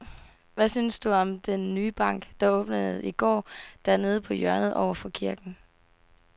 Hvad synes du om den nye bank, der åbnede i går dernede på hjørnet over for kirken?